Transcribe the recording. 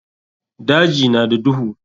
Daji na da duhu.